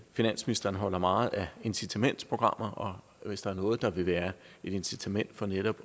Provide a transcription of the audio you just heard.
finansministeren holder meget af incitamentsprogrammer og hvis der er noget der vil være et incitament for netop